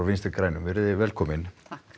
Vinstri grænum velkomin